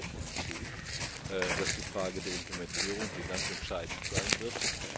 Da stimme ich Ihnen vollkommen zu, dass die Frage der Implementierung hier ganz entscheidend sein